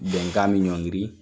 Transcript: Bɛnkan bɛ ɲɔngiri